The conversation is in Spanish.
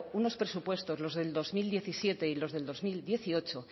unos presupuestos los del dos mil diecisiete y los del dos mil dieciocho